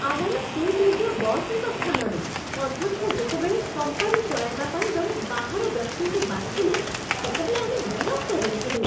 ଆମର ସୁଯୋଗ୍ୟ ବସ୍‌ଙ୍କ ସ୍ଥାନରେ ଅଧ୍ୟକ୍ଷ ଯେତେବେଳେ କମ୍ପାନୀ ଚଳାଇବା ପାଇଁ ଜଣେ ବାହାର ବ୍ୟକ୍ତିଙ୍କୁ ବାଛିଲେ, ସେତେବେଳେ ଆମେ ବିରକ୍ତ ହୋଇଥିଲୁ।